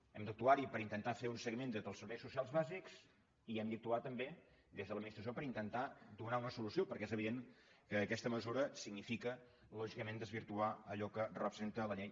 hem d’actuar hi per intentar fer un seguiment des dels serveis socials bàsics i hem d’actuar també des de l’administració per intentar donar una solució perquè és evident que aquesta mesura significa lògicament desvirtuar allò que representa la llei